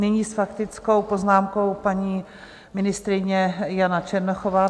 Nyní s faktickou poznámkou paní ministryně Jana Černochová.